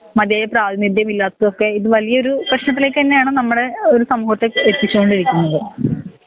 മധ്യവേ പ്രവവിധ്യയില്ലാത്തതൊക്കെ ഇത് വല്യൊരു പ്രേശ്നത്തിലേക്ക് തന്നെയാണ് നമ്മളെ ഒരു സമൂഹത്തേക്ക് എത്തിക്കേണ്ടിരിക്കുന്നത്